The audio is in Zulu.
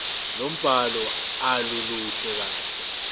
lombhalo aluluhle kahle